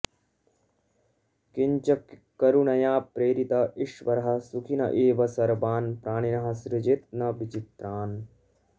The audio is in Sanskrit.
किञ्च करुणया प्रेरित ईश्वरः सुखिन एव सर्वान् प्राणिनः सृजेत् न विचित्रान्